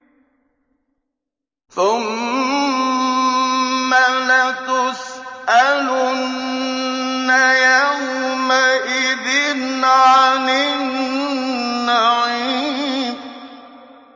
ثُمَّ لَتُسْأَلُنَّ يَوْمَئِذٍ عَنِ النَّعِيمِ